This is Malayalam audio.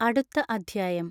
അടുത്ത അദ്ധ്യായം